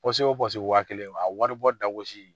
wa kelen a wari bɔ da gosi